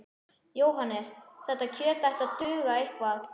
Jóhannes: Þetta kjöt ætti að duga eitthvað?